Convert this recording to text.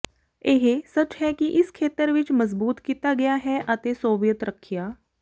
ਇਹ ਸੱਚ ਹੈ ਕਿ ਇਸ ਖੇਤਰ ਵਿੱਚ ਮਜ਼ਬੂਤ ਕੀਤਾ ਗਿਆ ਹੈ ਅਤੇ ਸੋਵੀਅਤ ਰੱਖਿਆ